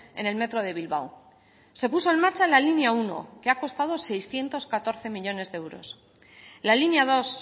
en el metro de bilbao se puso en marcha la línea uno que ha costado seiscientos catorce millónes de euros la línea dos